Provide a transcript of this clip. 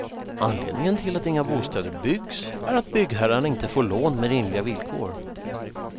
Anledningen till att inga bostäder byggs är att byggherrarna inte får lån med rimliga villkor.